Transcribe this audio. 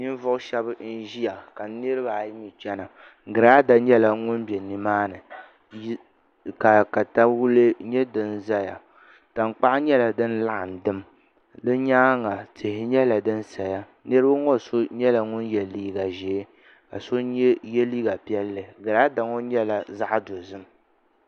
Ninvuɣu shab n ʒiya ka nirabaayi mii chɛna giraada nyɛla ŋun bɛ nimaani ka katawulɛ nyɛ din ʒɛya tankpaɣu nyɛla din laɣam dim di nyaanga tihi nyɛla din saya niraba ŋo so nyɛla ŋun yɛ liiga ʒiɛ ka so yɛ liiga piɛlli girada ŋo nyɛla zaɣ dozim